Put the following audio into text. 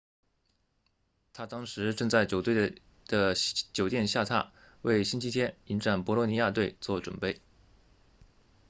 他当时正在球队的酒店下榻为星期天迎战博洛尼亚队做准备